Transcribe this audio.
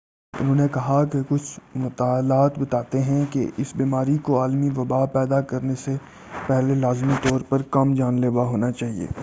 انھوں نے کہا کہ کچھ مطالعات بتاتے ہیں کہ اس بیماری کو عالمی وبا پیدا کرنے سے پہلے لازمی طور پر کم جان لیوا ہونا چاہیے